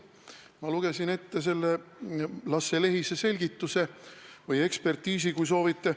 Ma lugesin ette Lasse Lehise selgituse või ekspertiisi, kui soovite.